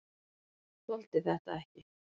Þoldi þetta ekki!